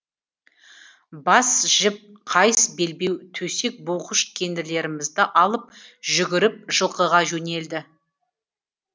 бас жіп қайыс белбеу төсек буғыш кендірлерімізді алып жүгіріп жылқыға жөнелдік